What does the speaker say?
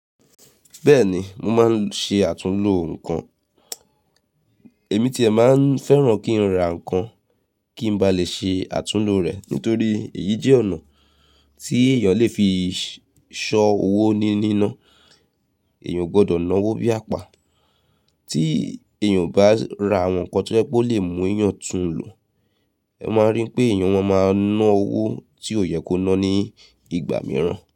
Bẹ́ẹ̀ni, mo máa ń ṣe àtúnlo nǹkan. Èmi tí è máa ń fẹ́ràn kí n ra nǹkan, kí n ba lè ṣe àtúnlo rẹ̀ nítorí èyí jẹ́ ọ̀nà tí èèyàn lè fi ṣọ owó ní ni ná. Èèyàn o gbọdọ̀ ná owó bí àpá. Tí èèyàn bá ra àwọn nǹkan tó jẹ́ pé ó lè mú èèyàn tún lò, ẹ máa rí pé èèyàn má máa ná owó tí ò yẹ kó ná ní ìgbà mìíràn.